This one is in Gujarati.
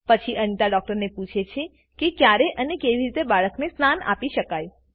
પછી અનિતા ડૉક્ટરને પૂછે છે ક્યારે અને કેવી રીતે બાળકને સ્નાન આપી શકાય